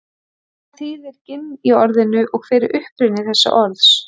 Hvað þýðir ginn í orðinu og hver er uppruni þessa orðs?